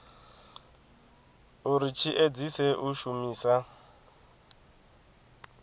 uri tshi edzise u shumisa